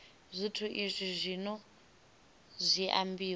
zwithu izwi zwino zwi ambiwa